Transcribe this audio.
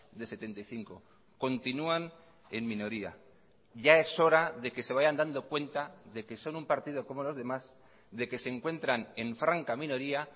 de setenta y cinco continúan en minoría ya es hora de que se vayan dando cuenta de que son un partido como los demás de que se encuentran en franca minoría